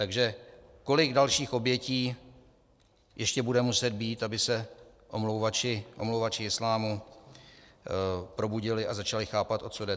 Takže kolik dalších obětí ještě bude muset být, aby se omlouvači islámu probudili a začali chápat, o co jde?